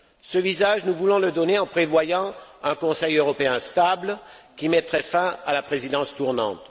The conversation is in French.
Ce visage, nous voulons le lui donner en prévoyant un Conseil européen stable, qui mettrait fin à la présidence tournante.